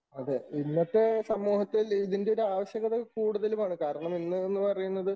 അതെ ഇന്നത്തെ സമൂഹത്തിൽ ഇതിൻറെ ഒരു ആവശ്യകത കൂടുതലുമാണ്. കാരണം ഇന്ന് എന്ന് പറയുന്നത്